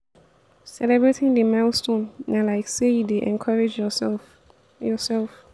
celebrating the milestone na like sey you dey encourage your self your self